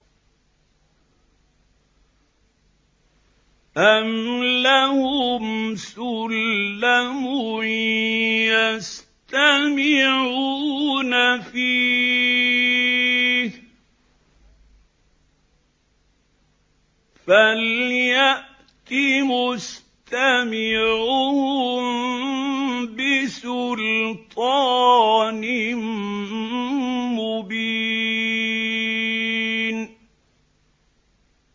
أَمْ لَهُمْ سُلَّمٌ يَسْتَمِعُونَ فِيهِ ۖ فَلْيَأْتِ مُسْتَمِعُهُم بِسُلْطَانٍ مُّبِينٍ